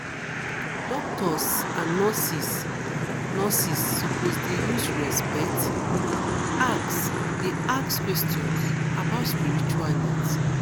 doctors and nurses nurses suppose dey use respect ask dey ask questions about spiritual needs